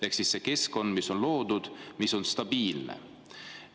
Ehk see keskkond, mis on loodud, mis on stabiilne.